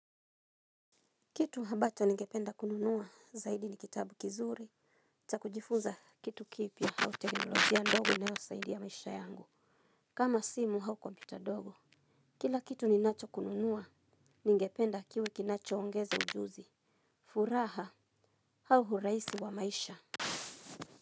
Kitu habacho ningependa kununua zaidi ni kitabu kizuri. Cha kujifunza kitu kipya au teknolojia ndogo inayo saidia maisha yangu. Kama simu hau kompyuta ndogo. Kila kitu ninacho kununuwa. Ningependa kiwe kinacho ongeza ujuzi. Furaha au urahisi wa maisha.